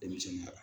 Denmisɛnninya